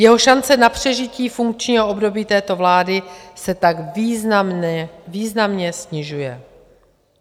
Jeho šance na přežití funkčního období této vlády se tak významně snižuje.